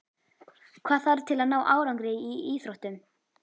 Hvað þarf til að ná árangri í íþróttum?